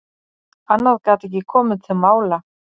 Annað gat ekki komið til mála.